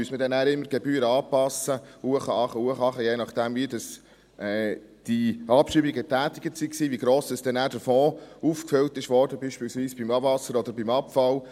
Müsste man dann immer die Gebühren anpassen, hinauf, hinunter, hinauf, hinunter, je nachdem, wie die Abschreibungen getätigt wurden, je nachdem, in welcher Höhe der Fonds aufgefüllt wurde, beispielsweise bei Abwasser oder beim Abfall?